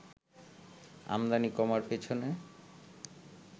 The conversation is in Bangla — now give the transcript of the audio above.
আমদানি কমার পেছনে